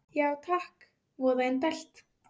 Já takk, voða indælt